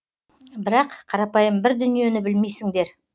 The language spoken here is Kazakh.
бірақ қарапайым бір дүниені білмейсіңдер